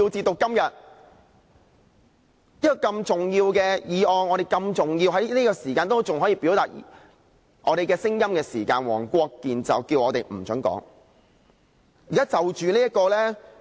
這些如此重要的議案，在我們仍可就此表達我們的聲音時，黃國健議員便不准我們發言。